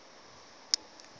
bathe thande phaya